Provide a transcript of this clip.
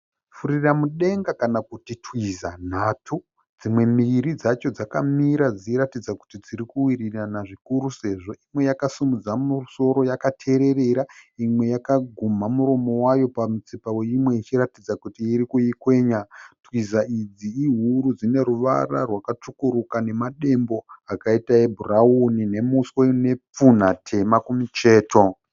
Furira mudenga kana kuti Twiza nhatu dzimwe mbiri dzacho dzakamira dzichiratidza kuti dzirikuwirirana zvikuru sezvo imwe yakasimudza musoro yakatererera, imwe yakagumha muromo wayo pamutsipa weimwe zvichiratidza kuti iri kuikwenya. Twiza idzi ihuru dzine ruvara rwakatsvukuruka, nemadembo akaita ebhurauni, nemuswe une pfunha tema kumucheto.